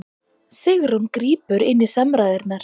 Sigrún grípur inn í samræðurnar